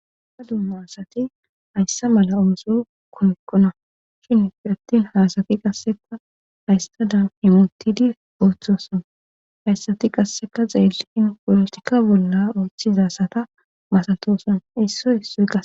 Ha dumma asati hayssa mala ooso komekkona shin ifi attin haasati qasseka hayssadam imontidi ooththoson hayssati qasseka xeeliin polotika bolla ooththizasata masatoson isso issuqa